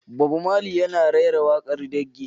Bob Marley kuma yana rera waƙar raggae.